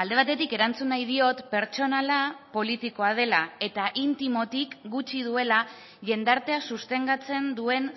alde batetik erantzun nahi diot pertsonala politikoa dela eta intimotik gutxi duela jendartea sostengatzen duen